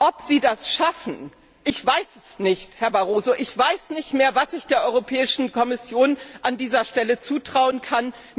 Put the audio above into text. Ob Sie das schaffen ich weiß es nicht, Herr Barroso. Ich weiß nicht mehr, was ich der Europäischen Kommission an dieser Stelle zutrauen kann.